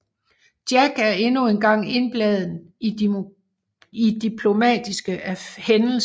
Jack er endnu engang indblandet i diplomatiske hændelser